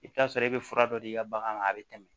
I bɛ t'a sɔrɔ i bɛ fura dɔ di i ka bagan ma a bɛ tɛmɛ